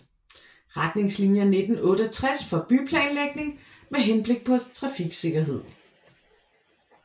Retningslinier 1968 for byplanlægning med henblik på trafiksikkerhed